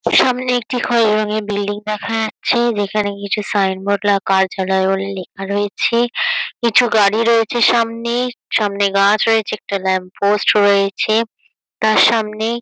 সামনে একটি খয়েরি রং এর বিল্ডিং দেখা যাচ্ছে-এ। যেখানে কিছু সাইন বোর্ড লেখা রয়েছে কিছু গাড়ি রয়েছে সামনে-এ। সামনে গাছ রয়েছে একটা ল্যাম্প পোস্ট রয়েছে তার সামনে--